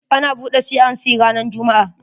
Ana buɗe C and C ranan jumm'a.